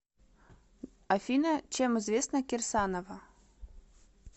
афина чем известна кирсанова